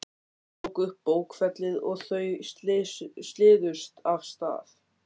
Hún tók upp bókfellið og þau siluðust af stað.